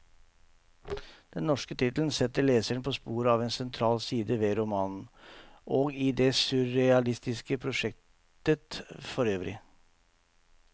Den norske tittelen setter leseren på sporet av en sentral side ved romanen, og i det surrealistiske prosjektet forøvrig.